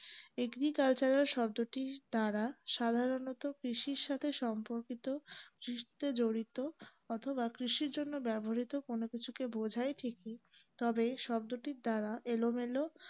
agricultural শব্দটির দ্বারা সাধারনত কৃষির সাথে সম্পর্কিত কৃষিতে জড়িত অথবা কৃষির জন্যে ব্যাবহ্রিত কোন কিছুকে বোঝায় ঠিকই তবে শব্দটির দ্বারা এলোমেলো